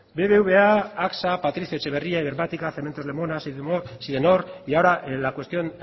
bbva axa patricio etxeberria ibermática cementos lemona sidenor y ahora la cuestión